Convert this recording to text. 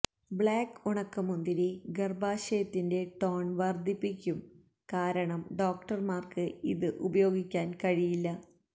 black ഉണക്കമുന്തിരി ഗർഭാശയത്തിൻറെ tone വർദ്ധിപ്പിക്കും കാരണം ഡോക്ടർമാർക്ക് ഇത് ഉപയോഗിക്കാൻ കഴിയില്ല